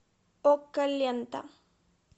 окко лента